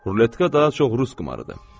Ruletka daha çox rus qumarıdır.